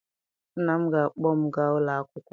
Nna m ga-akpọ m gaa ụlọ akwụkwọ.